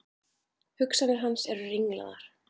Hugsanir hans eru ringlaðar.